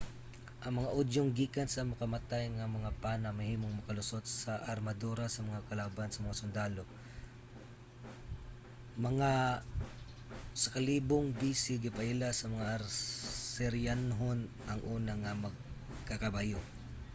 ang mga udyong gikan sa makamatay nga mga pana mahimong makalusot sa armadura sa mga kalaban nga sundalo. mga 1000 b.c,. gipaila sa mga asiryanhon ang una nga magkakabayo